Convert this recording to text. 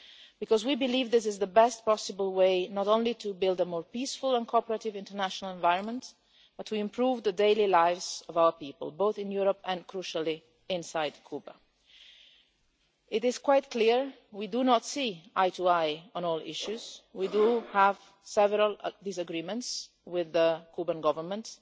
Because we believe this is the best possible way, not only to build a more peaceful and cooperative international environment, but also to improve the daily lives of our people, both in Europe and, crucially, inside Cuba. It is quite clear that we do not see eye to eye on all issues, we do have several disagreements with the Cuban Government.